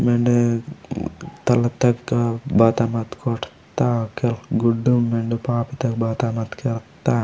मेंडे तालाब तगा बाता मात कोठता केल गुडुम मेंडे पाप बाता मत केवत्ता।